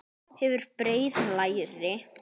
Hefur breið læri.